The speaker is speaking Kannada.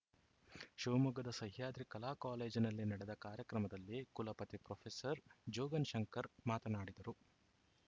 ಶಿವಮೊಗ್ಗದ ಸಹ್ಯಾದ್ರಿ ಕಲಾ ಕಾಲೇಜಿನಲ್ಲಿ ನಡೆದ ಕಾರ್ಯಕ್ರಮದಲ್ಲಿ ಕುಲಪತಿ ಪ್ರೊಫೆಸರ್ ಜೋಗನ್‌ ಶಂಕರ್‌ ಮಾತನಾಡಿದರು